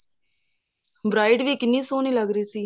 bride ਵੀ ਕਿੰਨੀ ਸੋਹਣੀ ਲੱਗ ਰਹੀ ਸੀ